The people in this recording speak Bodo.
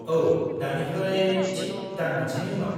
औ, दानिफ्राय थिक दान मोनसेनि उनाव।